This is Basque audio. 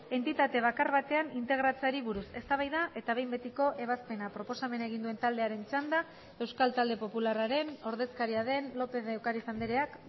entitate bakar batean integratzeari buruz eztabaida eta behin betiko ebazpena proposamena egin duen taldearen txanda euskal talde popularraren ordezkaria den lópez de ocariz andreak